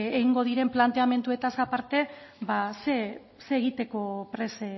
egingo diren planteamenduez aparte zer egiteko prest